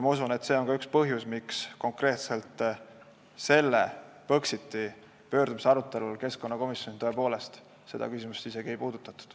Ma usun, et see on ka üks põhjusi, miks konkreetselt selle Põxiti pöördumise arutelul keskkonnakomisjonis seda küsimust isegi ei puudutatud.